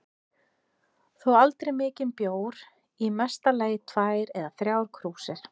Þó aldrei mikinn bjór, í mesta lagi tvær eða þrjár krúsir.